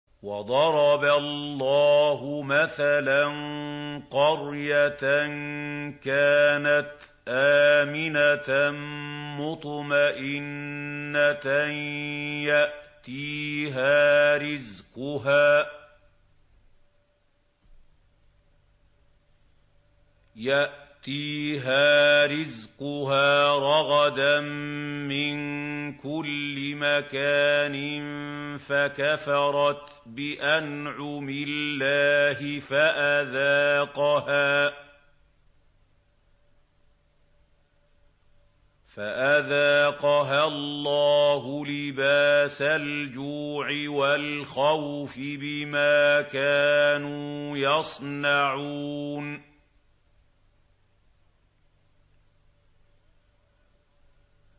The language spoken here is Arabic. وَضَرَبَ اللَّهُ مَثَلًا قَرْيَةً كَانَتْ آمِنَةً مُّطْمَئِنَّةً يَأْتِيهَا رِزْقُهَا رَغَدًا مِّن كُلِّ مَكَانٍ فَكَفَرَتْ بِأَنْعُمِ اللَّهِ فَأَذَاقَهَا اللَّهُ لِبَاسَ الْجُوعِ وَالْخَوْفِ بِمَا كَانُوا يَصْنَعُونَ